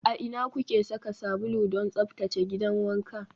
A ina kuke saka sabulu don tsaftace gidan wanka?